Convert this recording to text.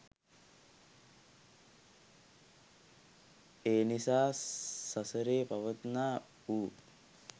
ඒනිසා සසරේ පවත්නා වූ